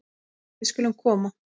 Við skulum koma